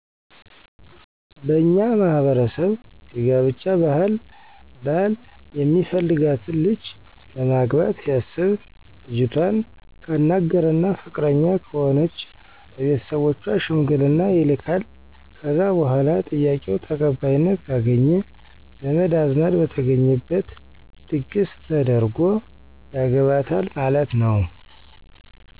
በእኛ ማህበረሰብ የጋብቻ ባህል ባል የሚፈልጋትን ልጅ ለማግባት ሲያሰብ ልጅቷን ካናገረና ፍቃደኛ ከሆነች ለቤተሰቦቿ ሸምግልና ይልካል ከዛ በኋላ ጥያቄው ተቀባይነት ካገኘ ዘመድ አዝማድ በተገኘበት ድግሰ ተደርጎ ያገባታል ማለት ነው።